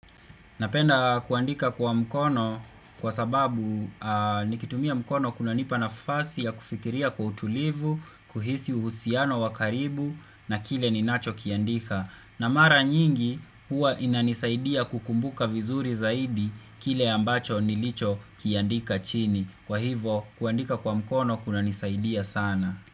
Napenda kuandika kwa mkono kwa sababu nikitumia mkono kuna nipa nafasi ya kufikiria kwa utulivu, kuhisi uhusiano wakaribu na kile ninacho kiandika. Na mara nyingi huwa inanisaidia kukumbuka vizuri zaidi kile ambacho nilicho kiandika chini. Kwa hivo kuandika kwa mkono kuna nisaidia sana.